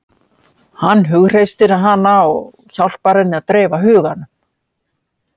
Hann hughreystir hana og hjálpar henni að dreifa huganum.